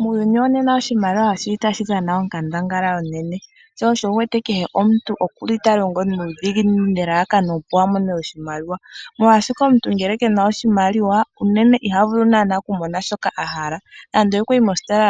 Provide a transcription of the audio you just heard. Muuyuni wonena oshimaliwa oshili tashi dhana onkandangala onene, sho osho wuwete kutya kehe omuntu okuli talongo nuudhiginini nelalakano opo a mone oshimaliwa, oshoka omuntu ngele kena oshimaliwa unene iha vulu oku mona shoka a hala, ngele okwayi mositola